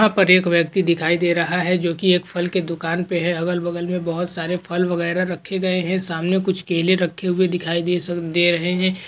यहा पर एक व्यक्ति दिखाई दे रहा है जो की एक फल की दुकान पे है अगल बगल मे बहुत सारे फल वगैरा रखे गए है सामने कुछ केले रखे हुए दिखाई दे सक रहे है।